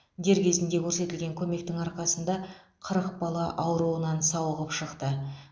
дер кезінде көрсетілген көмектің арқасында қырық бала ауруынан сауығып шықты